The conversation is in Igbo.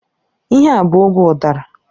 Ihe a bụ oge udara.